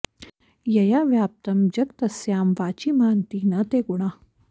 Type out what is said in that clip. यया व्याप्तं जगत्तस्यां वाचि मान्ति न ते गुणाः